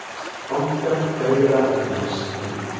Bankar fegra efnahagsreikninginn